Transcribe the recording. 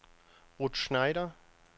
Ruth Schneider